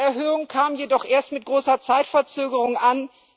Diese Erhöhung kam jedoch erst mit großer Zeitverzögerung an.